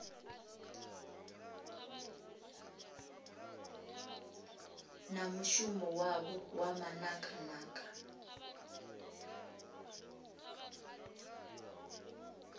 na mushumo wavho wa manakanaka